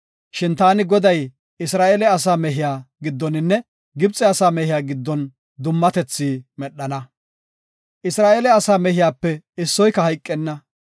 Shin taani Goday Isra7eele asaa mehiya giddoninne Gibxe asaa mehiya giddon dummatethi medhana. Isra7eele asaa mehiyape issoyka hayqenna.